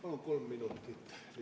Palun ka kolm minutit lisaaega!